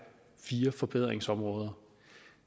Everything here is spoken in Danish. fire forbedringsområder